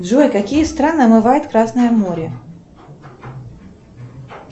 джой какие страны омывает красное море